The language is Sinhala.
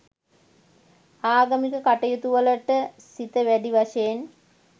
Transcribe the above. ආගමික කටයුතුවලට සිත වැඩි වශයෙන්